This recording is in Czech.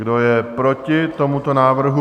Kdo je proti tomuto návrhu?